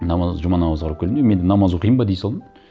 жұма намазға барып келдім де мен де намаз оқиын ба дей салдым